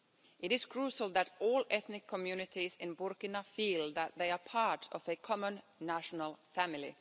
It is crucial that all ethnic communities in Burkina feel that they are part of a common national family.